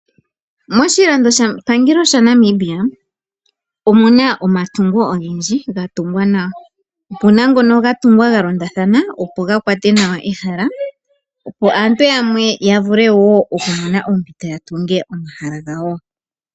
Moshilandopangelo shaNamibia omuna omatungo ogendji ga tungwa nawa. Omuna omatungo ga londathana opo ga kwate nawa ehala yo aantu yamwe ya vule wo okumona oompito dhokutunga omahala gawo.